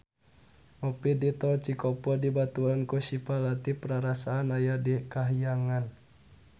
Ngopi di Tol Cikopo dibaturan ku Syifa Latief rarasaan aya di kahyangan